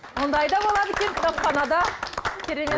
ондай да болады екен кітапханада керемет